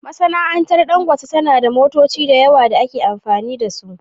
Masana'antar Dangote tana da motoci da yawa da ake amfani da su